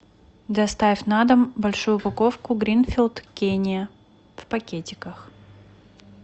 доставь на дом большую упаковку гринфилд кения в пакетиках